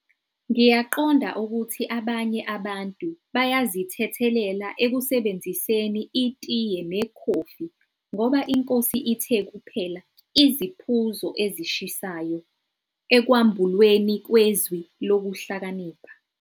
Ngiyaqonda ukuthi abanye abantu bayazithethelela ekusebenziseni itiye nekhofi, ngoba iNkosi ithe kuphela "iziphuzo ezishisayo" ekwambulweni kweZwi Lokuhlakanipha....